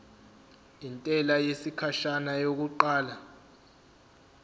intela yesikhashana yokuqala